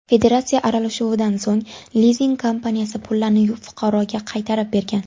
Federatsiya aralashuvidan so‘ng lizing kompaniyasi pullarni fuqaroga qaytarib bergan.